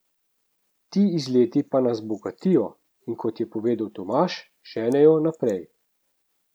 Ti izleti pa nas bogatijo, in kot je povedal Tomaž, ženejo naprej.